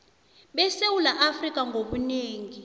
besewula afrika ngobunengi